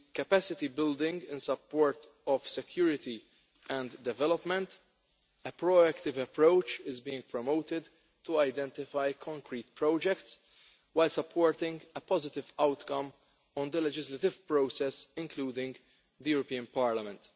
On the capacity building and support of security and development, a proactive approach is being promoted to identify concrete projects while supporting a positive outcome on the legislative process including the European Parliament.